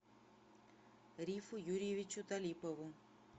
рифу юрьевичу талипову